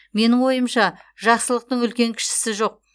менің ойымша жақсылықтың үлкен кішісі жоқ